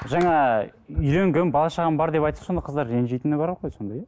жаңа үйленгенмін бала шағам бар деп айтса сонда қыздар ренжитіні бар ғой сонда иә